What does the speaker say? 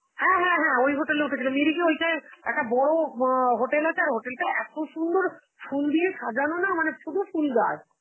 হ্যাঁ হ্যাঁ হ্যাঁ ওই hotel এ উঠেছিল, মেরীকে ওইটাই একটা বড় অ hotel আছে, আর hotel তা এত সুন্দর ফুল দিয়ে সাজানো না মানে পুরো ফুল গাছ.